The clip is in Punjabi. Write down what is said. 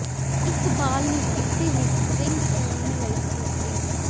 ਇੱਕ ਬਾਲ ਨੂੰ ਕਿਸੇ ਵੀ ਸਟੀਰਿੰਗ ਕੋਣ ਲਈ ਟੂਟੀ